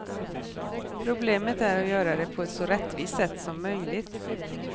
Problemet är att göra det på ett så rättvist sätt som möjligt.